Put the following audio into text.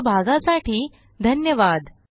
सहभागासाठी धन्यवाद